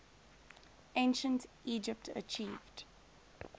ancient egypt achieved